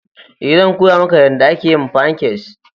Ee, zan koya maka yadda ake yin fancakes.